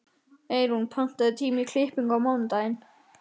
Eyrún, pantaðu tíma í klippingu á mánudaginn.